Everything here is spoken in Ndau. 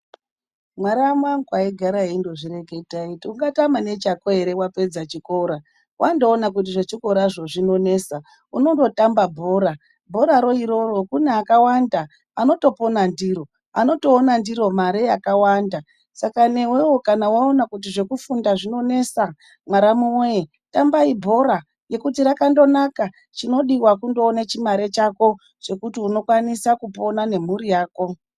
Mwaramu angu aindogara eindozvireketa eiti ungatama nechako ere wapedza chikora. Wandoona kuti zvechikorazvo zvinonesa unondotamba bhora. Bhora ro iroro kune akawanda anotopona ndiro, anotoona ndiro mare yakawanda. Saka newewo kana waona kuti zvekufunda zvinonesa mwaramu weee, tambai bhora ngekuti rakangonaka. Chinodiwa kundoone chimare chako chekuti unokwanisa kupona nemphuri yako.